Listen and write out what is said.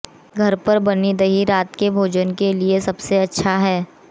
घर पर बनी दही रात के भोजन के लिए सबसे अच्छा है